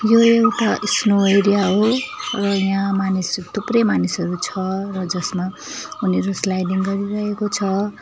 यो एउटा snow area हो र यहाँ मानिसहरू थुप्रै मानिसहरू छ र जसमा उनीहरू स्लाइडिङ गरिरहेको छ।